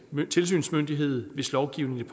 tilsynsmyndighed hvis lovgivningen